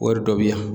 Wari dɔ bɛ yan